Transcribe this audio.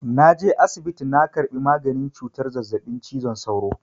Na je asibiti na karɓi maganin cutar zazzaɓin cizon sauro.